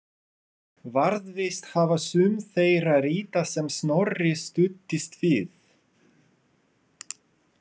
Varðveist hafa sum þeirra rita sem Snorri studdist við.